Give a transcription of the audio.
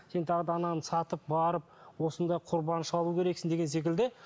сен тағы да ананы сатып барып осындай құрбан шалу керексің деген секілді